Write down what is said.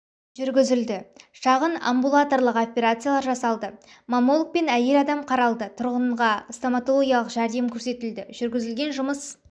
жүргізілді шағын амбулаторлық операциялар жасалды маммологпен әйел адам қаралды тұрғынға стоматологиялық жәрдем көрсетілді жүргізілген жұмыс